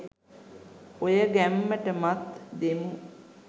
ඔය ගැම්මටමත් දෙමු